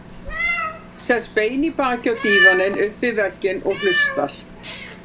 Sest bein í baki á dívaninn upp við vegginn og hlustar.